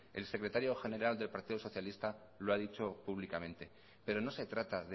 el secretario general del partido socialista lo ha dicho públicamente pero no se trata